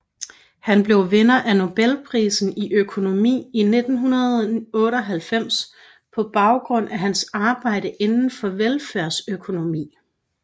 Han blev vinder af Nobelprisen i økonomi i 1998 på baggrund af hans arbejde inden for velfærdsøkonomi